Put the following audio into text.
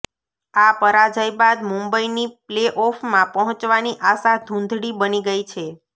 આ પરાજય બાદ મુંબઈની પ્લેઓફમાં પહોંચવાની આશા ધુંધળી બની ગઈ છે